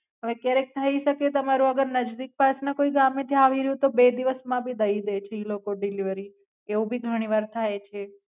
હવે ક્યારે થાઈ સાકે તમારું અગર નઝદિક પાસના કોઈ ગમે થી એવી રયુ છે તો બે દિવસ માં ભી દઈ દે છે ઈ લોકો ડિલવરી એવું ભી ઘણી વાર થાય છે.